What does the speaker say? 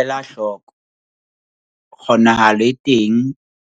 Ela hloko- Kgonahalo e teng